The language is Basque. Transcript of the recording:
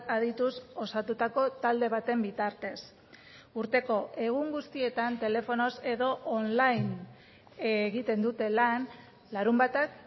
adituz osatutako talde baten bitartez urteko egun guztietan telefonoz edo online egiten dute lan larunbatak